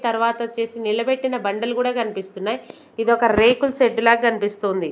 తర్వాత వొచ్చేసి నిలబెట్టిన బండలు గూడా కనిపిస్తున్నాయి ఇదొక రేకుల షెడ్డు లా కన్పిస్తుంది.